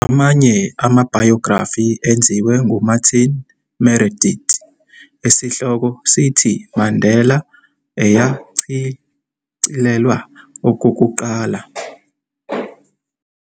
Amanye amabhayografi enziwe nguMartin Meredith esihloko sithi- "Mandela", eyashicilelwa okokuqala ngo 1997, kanye neka-Tom Lodge nayo esihloko sithi- "Mandela", yona eshicilelwe ngo 2006.